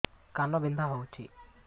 କାନ ବିନ୍ଧା ହଉଛି